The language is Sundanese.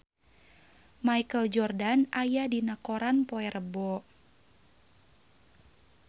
Michael Jordan aya dina koran poe Rebo